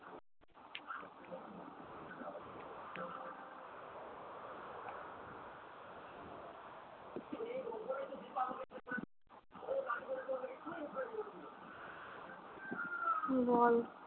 বল